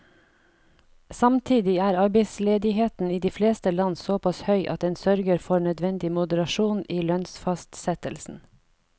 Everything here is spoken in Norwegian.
Samtidig er arbeidsledigheten i de fleste land såpass høy at den sørger for nødvendig moderasjon i lønnsfastsettelsen.